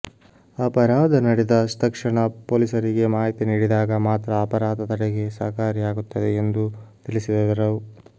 ಅಪರಾಧ ನಡೆದ ತಕ್ಷಣ ಪೊಲೀಸರಿಗೆ ಮಾಹಿತಿ ನೀಡಿದಾಗ ಮಾತ್ರ ಅಪರಾಧ ತಡೆಗೆ ಸಹಕಾರಿಯಾಗುತ್ತದೆ ಎಂದು ತಿಳಿಸಿದರು